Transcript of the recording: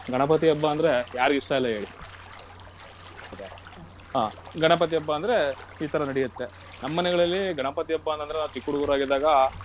ಗಣಪತಿ ಹಬ್ಬ ಅಂದ್ರೆ ಯಾರಿಗ್ ಇಷ್ಟ ಇಲ್ಲ ಹೇಳಿ, ಹಾ, ಗಣಪತಿ ಹಬ್ಬ ಅಂದ್ರೆ ಈ ತರ ನಡೆಯುತ್ತೆ. ನಮ್ಮನೆಗಳಲ್ಲಿ ಗಣಪತಿ ಹಬ್ಬ ಅಂತಂದ್ರೆ ನಾವು ಚಿಕ್ಕ ಹುಡುಗರಾಗಿದ್ದಾಗ.